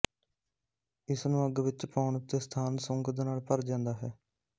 ਇਸਨ੍ਹੂੰ ਅੱਗ ਵਿੱਚ ਪਾਉਣ ਉੱਤੇ ਸਥਾਨ ਸੁੰਗਧ ਨਾਲ ਭਰ ਜਾਂਦਾ ਹੈ